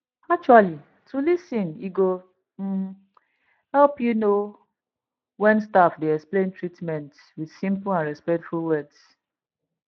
actuallyto lis ten e go um help you know when staff dey explain treatment with simple and respectful words